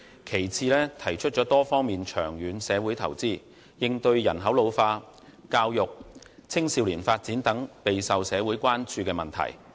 其次，他提出作多方面長遠社會投資，應對人口老化、教育、青少年發展等備受社會關注的問題。